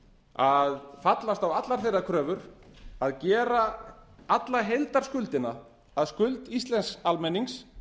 að fallast á allar þeirra kröfur að gera alla heildarskuldina að skuld íslensks almennings